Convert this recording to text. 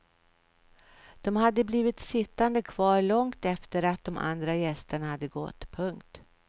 De hade blivit sittande kvar långt efter att de andra gästerna hade gått. punkt